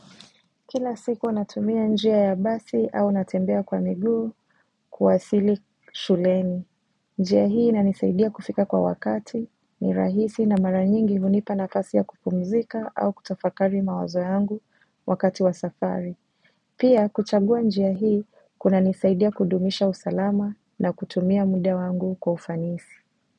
Kila siku natumia njia ya basi au natembea kwa miguu kuwasili shuleni. Njia hii inanisaidia kufika kwa wakati ni rahisi na mara nyingi hunipa nafasi ya kupumzika au kutafakari mawazo yangu wakati wa safari. Pia kuchagua njia hii kuna nisaidia kudumisha usalama na kutumia muda wangu kwa ufanisi.